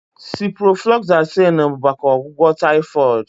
Ciprofloxacin bụ maka ọgwụgwọ typhoid